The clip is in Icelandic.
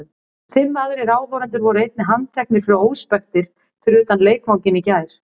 Fimm aðrir áhorfendur voru einnig handteknir fyrir óspektir fyrir utan leikvanginn í gær.